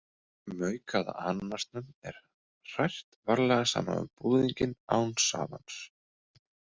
Maukaða ananasnum er hrært varlega saman við búðinginn án safans.